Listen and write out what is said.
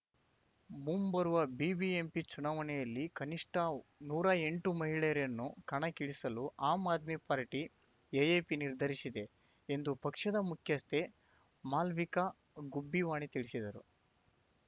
ಮುಂಬರುವ ಬಿಬಿಎಂಪಿ ಚುನಾವಣೆಯಲ್ಲಿ ಕನಿಷ್ಠ ನೂರಾ ಎಂಟು ಮಹಿಳೆಯರನ್ನು ಕಣಕ್ಕಿಳಿಸಲು ಆಮ್ ಆದ್ಮಿ ಪಾರ್ಟಿ ಎಎಪಿನಿರ್ಧರಿಸಿದೆ ಎಂದು ಪಕ್ಷದ ಮುಖ್ಯಸ್ಥೆ ಮಾಲವಿಕಾ ಗುಬ್ಬಿವಾಣಿ ತಿಳಿಸಿದರು